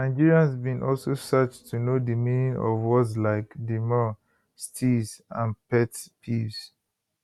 nigerians bin also search to know di meaning of words like demure steeze and pet peeves